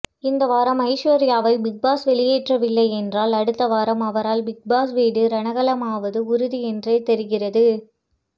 இந்த வாரம் ஐஸ்வர்யாவை பிக்பாஸ் வெளியேற்றவில்லை என்றால் அடுத்த வாரம் அவரால் பிக்பாஸ் வீடு ரணகளமாவது உறுதி என்றே தெரிகிறது